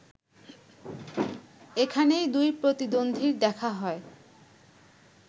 এখানেই দুই প্রতিদ্বন্দীর দেখা হয়